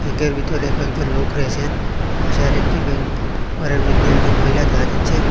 ব্যাংকের ভিতরে কয়েকজন লোক রয়েসেন পাশে আরেকটি ব্যাঙ্ক ঘরের মইধ্যে একজন মহিলা দেখা যাচ্চে।